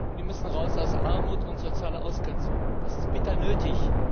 Die müssen raus aus Armut und sozialer Ausgrenzung! Das ist bitter nötig.